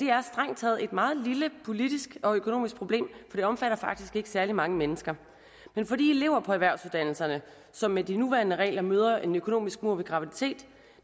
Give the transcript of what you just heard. er strengt taget et meget lille politisk og økonomisk problem for det omfatter faktisk ikke særlig mange mennesker men for de elever på erhvervsuddannelserne som med de nuværende regler møder en økonomisk mur ved graviditet